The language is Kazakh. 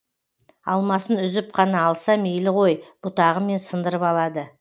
алмасын үзіп қана алса мейлі ғой бұтағымен сындырып алады